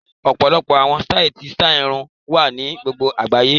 Ọ̀pọ̀lọpọ̀ àwọn sítáì ti sítáì irun wà ní gbogbo àgbáyé